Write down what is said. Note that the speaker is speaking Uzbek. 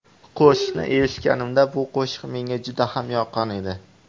Qo‘shiqni eshitganimda, bu qo‘shiq menga juda ham yoqqan edi.